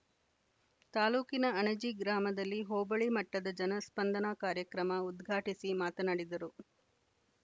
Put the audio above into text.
ತಾಲೂಕಿನ ಅಣಜಿ ಗ್ರಾಮದಲ್ಲಿ ಹೋಬಳಿ ಮಟ್ಟದ ಜನ ಸ್ಪಂದನ ಕಾರ್ಯಕ್ರಮ ಉದ್ಘಾಟಿಸಿ ಮಾತನಾಡಿದರು